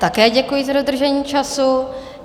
Také děkuji za dodržení času.